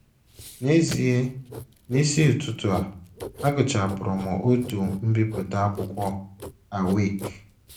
N’ezie, n’isi ụtụtụ a, agụchapụrụ m otu mbipụta akwụkwọ Awake! ”